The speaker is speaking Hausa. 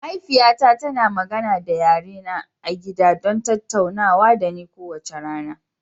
Mahaifiyata tana magana da yare na gida don tattaunawa da ni kowace rana.